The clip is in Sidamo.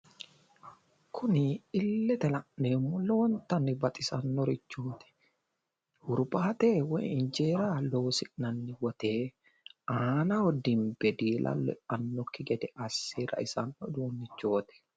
Kuni illete la'neemmo lowontanni baxisanno hurbaate woyi injeera loosi'nanni wote aanaho dimbe diilallo eannokki gede asse raisanno uduunnichooti.